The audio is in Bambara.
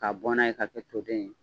K'a bɔn na ye, ka kɛ toden ye.